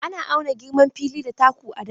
Ana auna girman fili da taku a da.